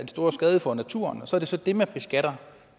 stor skade for naturen så er det så det man beskatter